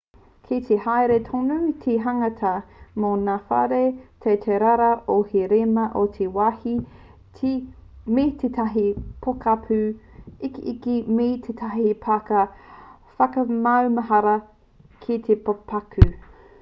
kei te haere tonu te hanganga mō ngā whare teitei rawa hou e rima ki te wāhi me tētahi pokapū ikiiki me tētahi pāka whakamaumahara ki te pokapū